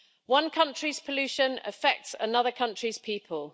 One country's pollution affects another country's people.